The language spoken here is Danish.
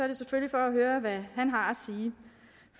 det selvfølgelig for at høre hvad han har